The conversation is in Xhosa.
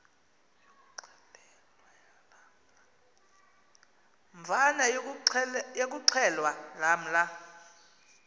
mvana yokuxhelwa lamla